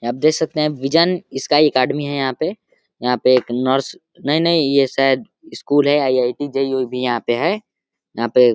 यहां पे देख सकते हैं विज़न स्काई एकेडमी है यहाँ पे । यहाँ पे एक नर्स नहीं नहीं ये शायद स्कूल है आईआईटीजेईई ओई भी है यहाँ पे है यहां पे --